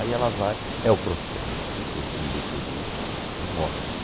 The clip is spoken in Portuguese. Aí ela vai... É o processo que eu me referi de morte.